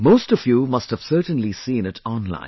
Most of you must have certainly seen it online